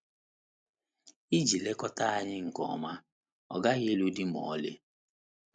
Iji lekọta anyị nke ọma, ọ gaghị ịlụ di ma ọlị.